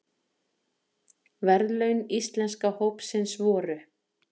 Verðlaun Íslenska hópsins voru